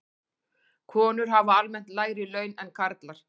Konur hafa almennt lægri laun en karlar.